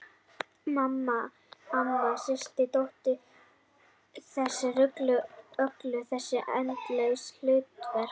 Mamma, amma, systir dóttir- allar þessar rullur, öll þessi endalausu hlutverk.